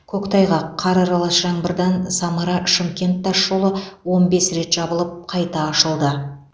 көктайғақ қар аралас жаңбырдан самара шымкент тасжолы он бес рет жабылып қайта ашылды